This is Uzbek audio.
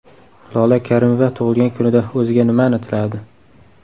Lola Karimova tug‘ilgan kunida o‘ziga nimani tiladi?